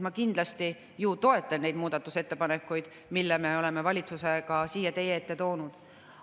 Ma kindlasti ju toetan neid muudatusettepanekuid, mille me oleme valitsusega siia teie ette toonud.